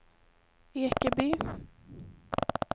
Ekeby